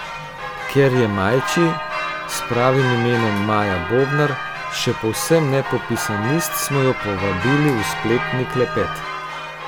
Ker je Majči, s pravim imenom Maja Bobnar, še povsem nepopisan list, smo jo povabili v spletni klepet.